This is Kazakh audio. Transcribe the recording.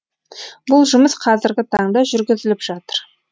бұл жұмыс қазіргі таңда жүргізіліп жатыр